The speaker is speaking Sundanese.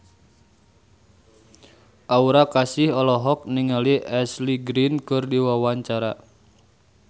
Aura Kasih olohok ningali Ashley Greene keur diwawancara